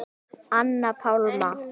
Anna Pálma.